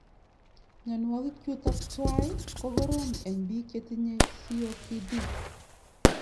Mionwokik chutook twai ko koroom eng biik chetinye COPD